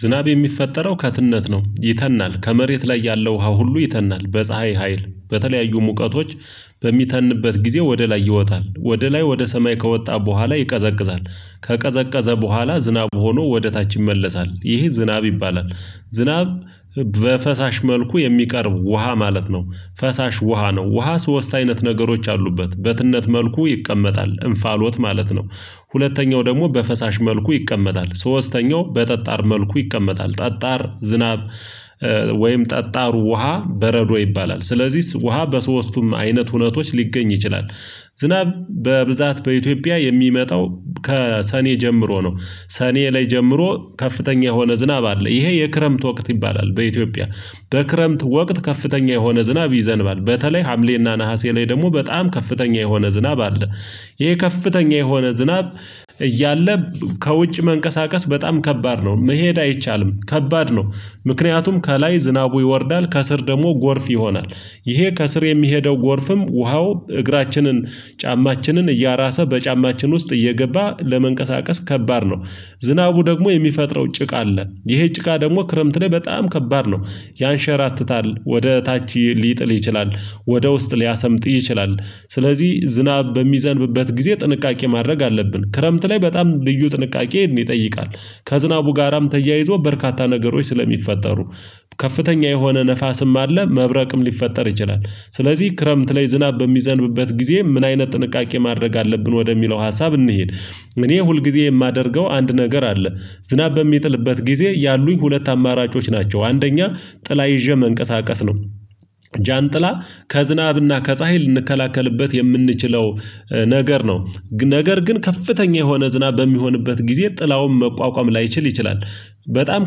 ዝናብ የሚፈጠረው ከትነት ነው ይተናል ከመሬት ላይ ያለው ውሃ ሁሉ ይተናል በፀሀይ ሀይል በተለያዩ ሙቀቶች በሚተንበት ጊዜ ወደ ላይ ይወጣል ወደ ላይ ወደ ሰማይ ከወጣ በኋላ ይቀዘቅዛል ከቀዘቀዘ በኋላ ዝናብ ሆኖ ወደ ታች ይመለሳል ይሄ ዝናብ ይባላል ዝናብ በፈሳሽ መልኩ የሚቀርብ ውሃ ማለት ነው ፈሳሽ ውሃ ነው ውሃ ሶስት አይነት ነገሮች አሉበት በትነት መልኩ ይቀመጣል እንፋሎት ማለት ነው ሁለተኛው ደግሞ በፈሳሽ መልኩ ይቀመጣል ሶስተኛው በጠጣር መልኩ ይቀመጣል ጠጣር ዝናብ ወይም ጠጣሩ ውሃ በረዶ ይባላል ስለዚህ ውሃ በሶስቱም አይነት ሁነቶች ሊገኝ ይችላል ዝናብ በብዛት በኢትዮጵያ የሚመጣው ከሰኔ ጀምሮ ነው ሰኔ ላይ ጀምሮ ከፍተኛ የሆነ ዝናብ አለ ይሄ የክረምት ወቅት ይባላል በኢትዮጵያ በክረምት ወቅት ከፍተኛ የሆነ ዝናብ ይዘንባል በተለይ ሀምሌና ነሀሴ ላይ ደግሞ በጣም ከፍተኛ የሆነ ዝናብ አለ ይሄ ከፍተኛ የሆነ ዝናብ እያለ ከውጭ መንቀሳቀስ በጣም ከባድ ነው መሄድ አይቻልም ከባድ ነው ምክንያቱም ከላይ ዝናቡ ይወርዳል ከስር ደግሞ ጎርፍ ይሆናል ይሄ ከስር የሚሄደው ጎርፍም ውሃው እግራችንን ጫማችንን እያራሰ በጫማችን ውስጥ እየገባ ለመንቀሳቀስ ከባድ ነው። ዝናቡ ደግሞ የሚፈጥረው ጭቃ አለ ይሄ ጭቃ ደግሞ ክረምት ላይ በጣም ከባድ ነው። ያንሸራትታል ወደ ታች ሊጥል ይችላል ወደ ውስጥ ሊያሰምጥ ይችላል ስለዚህ ዝናብ በሚዘንብበት ጊዜ ጥንቃቄ ማድረግ አለብን። ክረምት ላይ በጣም ልዩ ጥንቃቄ ይጠይቃል ከዝናቡ ጋራም ተያይዞ በርካታ ነገሮች ስለሚፈጠሩ ከፍተኛ የሆነ ንፋስም አለ መብረቅም ሊፈጠር ይችላል። ስለዚህ ክረምት ላይ ዝናብ በሚዘንብበት ጊዜ ምን አይነት ጥንቃቄ ማድረግ አለብን ወደሚለው ሀሳብ እንሂድ እኔ ሁልጊዜ ማደርገው አንድ ነገር አለ ዝናብ በሚጥልበት ጊዜ ያሉኝ ሁለት አማራጮች ናቸው አንደኛ ጥላ ይዤ መንቀሳቀስ ነው ጃንጥላ ከዝናብና ከፀሀይ ልንከላከልበት የምንችለው ነገር ነው። ነገር ግን ከፍተኛ የሆነ ዝናብ በሚሆንበት ጊዜ ጥላውም መቋቋም ላይችል ይችላል። በጣም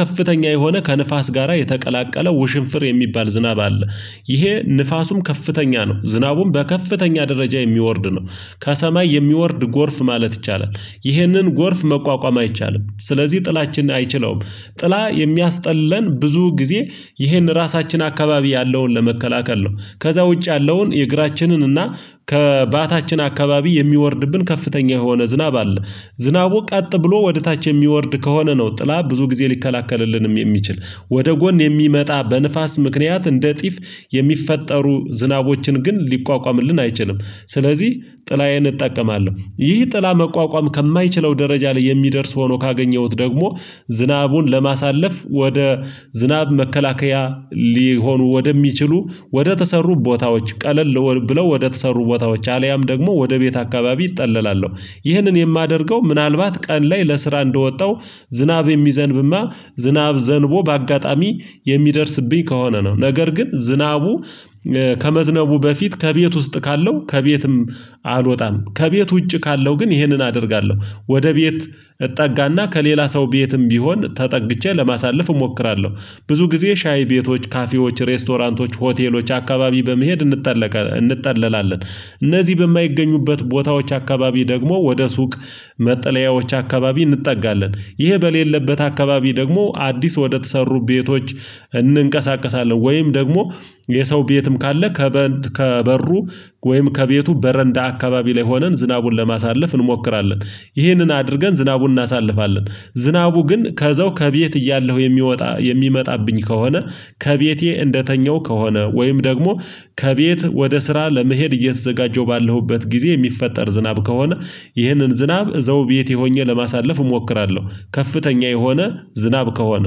ከፍተኛ የሆነ ከንፋስ ጋራ የተቀላቀለ ውሽንፍር የሚባል ዝናብ አለ። ይሄ ንፋሱም ከፍተኛ ነው ዝናቡም በከፍተኛ ደረጃ የሚወርድ ነው። ከሰማይ የሚወርድ ጎርፍ ማለት ይቻላል። ይህንን ጎርፍ መቋቋም አይቻልም ስለዚህ ጥላችን አይችለውም። ጥላ የሚያስጠለን ብዙ ጊዜ ይህን ራሳችን አካባቢ ያለውን ለመከላከል ነው። ከዛ ውጭ ያለውን የእግራችንን እና ከባታችን አካባቢ የሚወርድብን ከፍተኛ የሆነ ዝናብ አለ። ዝናቡ ቀጥ ብሎ ወደ ታች የሚወርድ ከሆነ ነው ጥላ ብዙ ጊዜ ሊከላከልልንም የሚችል። ወደ ጎን የሚመጣ በንፋስ ምክንያት እንደ ጢፍ የሚፈጠሩ ዝናቦችን ግን ሊቋቋምልን አይችልም። ስለዚህ ጥላዬን እጠቀማለሁ። ይህ ጥላ መቋቋም ከማይችለው ደረጃ ላይ የሚደርስ ሆኖ ካገኘሁት ደግሞ ዝናቡን ለማሳለፍ ወደ ዝናብ መከላከያ ሊሆኑ ወደሚችሉ ወደተሰሩ ቦታዎች ቀለል ብለው ወደተሰሩ ቦታዎች አልያም ደግሞ ወደ ቤት አካባቢ እጠለላለሁ ይህንን የማደርገው ምናልባት ቀን ላይ ለስራ እንደወጣው ዝናብ የሚዘንብማ ዝናብ ዘንቦ በአጋጣሚ የሚደርስብኝ ከሆነ ነው ነገር ግን ዝናቡ ከመዝነቡ በፊት ከቤት ውስጥ ካለው ከቤትም አልወጣም። ከቤት ውጪ ካለው ግን ይሄንን አደርጋለሁ ወደ ቤት እጠጋና ከሌላ ሰው ቤትም ቢሆን ተጠግቼ ለማሳለፍ እሞክራለሁ ብዙ ጊዜ ሻይ ቤቶች ካፌዎች ሬስቶራንቶች ሆቴሎች አካባቢ በመሄድ እንጠለቃለን እንጠለላለን። እነዚህ በማይገኙበት ቦታዎች አካባቢ ደግሞ ወደ ሱቅ መጠለያዎች አካባቢ እንጠጋለን ይሄ በሌለበት አካባቢ ደግሞ አዲስ ወደተሰሩ ቤቶች እንንቀሳቀሳለን ወይም ደግሞ የሰው ቤትም ካለ ከበሩ ወይም ከቤቱ በረንዳ አካባቢ ላይ ሆነን ዝናቡን ለማሳለፍ እንሞክራለን ይህንን አድርገን ዝናቡን እናሳልፋለን ዝናቡ ግን ከዛው ከቤት እያለሁ የሚወጣ የሚመጣብኝ ከሆነ ከቤቴ እንደተኘሁ ከሆነ ወይም ደግሞ ከቤት ወደ ስራ ለመሄድ እየተዘጋጀው ባለሁበት ጊዜ የሚፈጠር ዝናብ ከሆነ ይህንን ዝናብ እዛው ቤቴ ሆኜ ለማሳለፍ እሞክራለሁ። ከፍተኛ የሆነ ዝናብ ከሆነ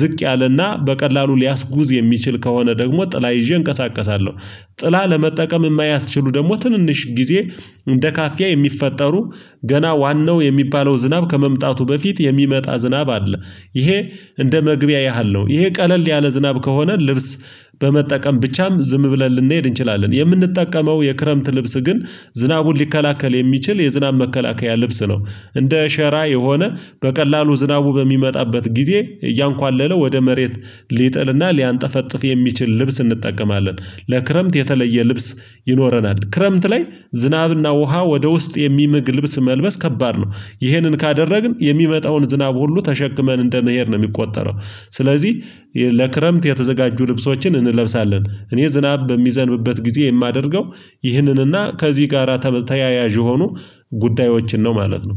ዝቅ ያለና በቀላሉ ሊያስጉዝ የሚችል ከሆነ ደግሞ ጥላ ይዤ እንቀሳቀሳለሁ ጥላ ለመጠቀም የማያስችሉ ደግሞ ትንንሽ ጊዜ እንደ ካፊያ የሚፈጠሩ ገና ዋናው የሚባለው ዝናብ ከመምጣቱ በፊት የሚመጣ ዝናብ አለ። ይሄ እንደ መግቢያ ያህል ነው ይሄ ቀለል ያለ ዝናብ ከሆነ ልብስ በመጠቀም ብቻም ዝም ብለን ልንሄድ እንችላለን። የምንጠቀመው የክረምት ልብስ ግን ዝናቡን ሊከላከል የሚችል የዝናብ መከላከያ ልብስ ነው እንደ ሸራ የሆነ በቀላሉ ዝናቡ በሚመጣበት ጊዜ እያንኳለለ ወደ መሬት ሊጥልና ሊያንጠፈጥፍ የሚችል ልብስ እንጠቀማለን። ለክረምት የተለየ ልብስ ይኖረናል። ክረምት ላይ ዝናብና ውሃ ወደ ውስጥ የሚምግ ልብስ መልበስ ከባድ ነው ይሄንን ካደረግን የሚመጣውን ዝናብ ሁሉ ተሸክመን እንደመሄድ ነው የሚቆጠረው ስለዚህ ለክረምት የተዘጋጁ ልብሶችን እንለብሳለን እኔ ዝናብ በሚዘንብበት ጊዜ የማደርገው ይህንንና ከዚህ ጋራ ተያያዥ የሆኑ ጉዳዮችን ነው ማለት ነው።